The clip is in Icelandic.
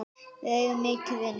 Við eigum mikið inni.